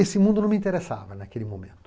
Esse mundo não me interessava naquele momento.